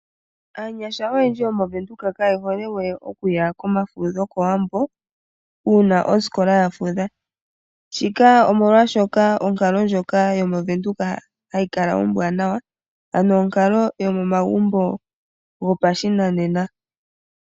Aanyasha oyendji yomOvenduka kaye hole we okuya komafudho kOwambo uuna osikola ya fudha. Shika omolwashoka onkalo ndjoka yo mOvenduka hayi kala ombwanawa. Ano onkalo yomomagumbo gopashinanena.